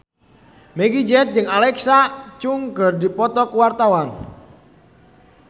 Meggie Z jeung Alexa Chung keur dipoto ku wartawan